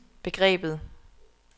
begrebet